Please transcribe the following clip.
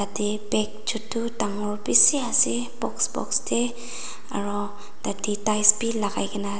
eta bag chutu dangor bishi ase box box tey aro thatey tiles b lai kai kena ase.